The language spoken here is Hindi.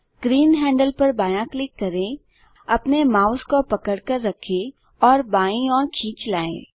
ग्रीन हैंडल पर बायाँ क्लिक करें अपने माउस को पकड़कर रखें और बाईं ओर खींच लाएँ